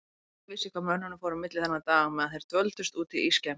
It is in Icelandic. Enginn vissi hvað mönnunum fór á milli þennan dag meðan þeir dvöldust úti í skemmu.